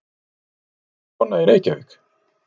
Eru allir svona í Reykjavík?